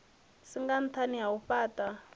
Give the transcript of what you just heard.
singa nṱhani ha u fhaṱha